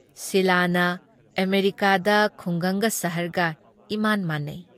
ꯁꯤꯂꯥꯅ "ꯑꯃꯦꯔꯤꯀꯥꯗ ꯈꯨꯡꯒꯪꯒ ꯁꯍꯔꯒ ꯏꯃꯥꯟ ꯃꯥꯟꯅꯩ ꯫